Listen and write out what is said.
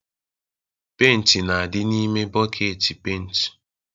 Penti na-adị n'ime bọket penti